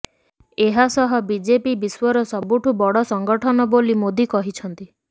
ଏହା ସହ ବିଜେପି ବିଶ୍ୱର ସବୁଠୁ ବଡ ସଂଗଠନ ବୋଲି ମୋଦି କହିଛନ୍ତି